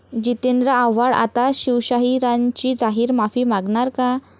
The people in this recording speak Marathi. जितेंद्र आव्हाड आता शिवशाहिरांची जाहीर माफी मागणार का?